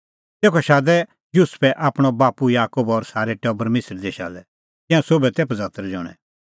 तेखअ शादै युसुफै आपणअ बाप्पू याकूब और सारै टबर मिसर देशा लै तिंयां सोभै तै पझतर ज़ण्हैं